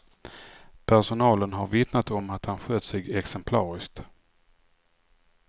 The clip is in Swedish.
Personalen har vittnat om att han skött sig exemplariskt.